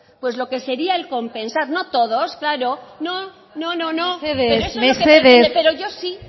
pues lo que sería el compensar no todos claro no mesedez